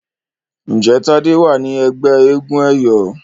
Njé Tade wá ní ègbé éégun eyọ?